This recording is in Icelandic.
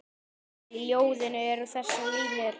Í ljóðinu eru þessar línur